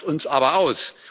Der lacht uns aber aus.